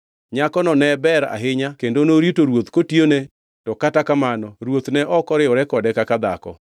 Nyakono ne ber ahinya kendo norito ruoth kotiyone to kata kamano ruoth ne ok oriwore kode kaka dhako.